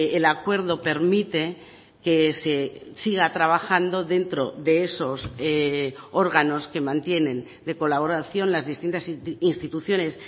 el acuerdo permite que se siga trabajando dentro de esos órganos que mantienen de colaboración las distintas instituciones